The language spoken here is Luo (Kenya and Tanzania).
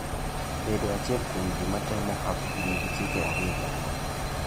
Bedo achiel kuom ji matemo hapgi nigi chike ariyo madongo.